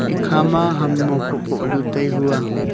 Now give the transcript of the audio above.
ikha ma ham huphoh phoh du tai hu aa.